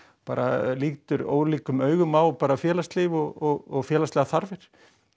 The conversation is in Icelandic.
bara lítur ólíkum augum á félagslíf og félagslegar þarfir